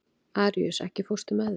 Aríus, ekki fórstu með þeim?